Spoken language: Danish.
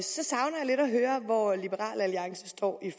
høre hvor liberal alliance står i